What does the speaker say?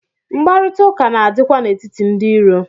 Mkparịta ụka na-adị kwa n'etiti ndị iro.